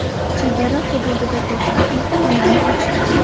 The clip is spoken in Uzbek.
Chegara hududida to‘xtab, yukxonani ochdi.